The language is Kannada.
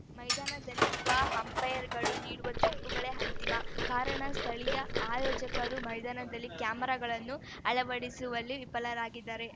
ಮೈದಾನದಲ್ಲಿರುವ ಅಂಪೈರ್‌ಗಳು ನೀಡಿದ ತೀರ್ಪುಗಳೇ ಅಂತಿಮ ಕಾರಣ ಸ್ಥಳೀಯ ಆಯೋಜಕರು ಮೈದಾನದಲ್ಲಿ ಕ್ಯಾಮೆರಾಗಳನ್ನು ಅಳವಡಿಸುವಲ್ಲಿ ವಿಫಲರಾಗಿದ್ದಾರೆ